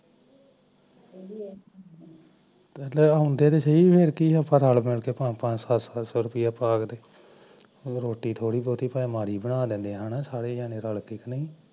ਹੁੰਦੇ ਤਾਂ ਸਹੀ ਅਸੀਂ ਰਲ ਮਿਲ ਕੇ ਪੰਜ ਪੰਜ ਸੋ ਪਾ ਦਿੰਦੇ ਰੋਟੀ ਥੋੜੀ ਬਹੁਤੀ ਮਾੜੀ ਬਣਾ ਲੈਂਦੇ ਐ ਸਾਰੇ ਜਾਣੇ ਰਲ ਕੇ